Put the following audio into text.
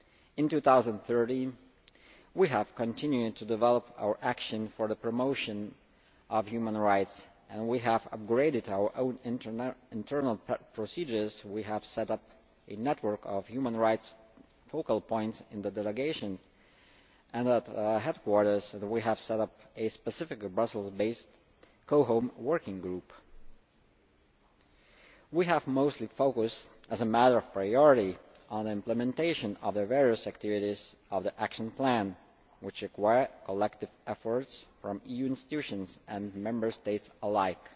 In 2013, we have continued to develop our action for the promotion of human rights and we have upgraded our own internal procedures, we have set up a network of human rights focal points in the delegations and at Headquarters we have set up a specific Brussels based COHOM Working Group. We have mostly focused, as a matter of priority, on the implementation of the various activities of the Action Plan, which require collective efforts from EU institutions and Member States